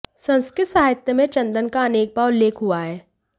संस्कृत साहित्य में चंदन का अनेक बार उल्लेख हुआ है